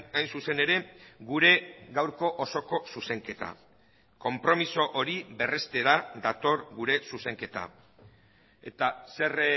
hain zuzen ere gure gaurko osoko zuzenketa konpromiso hori berrestera dator gure zuzenketa eta zer